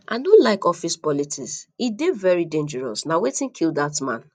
i no like office politics e dey very dangerous na wetin kill dat man